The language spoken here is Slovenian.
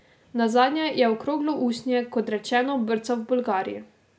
Nazadnje je okroglo usnje, kot rečeno, brcal v Bolgariji.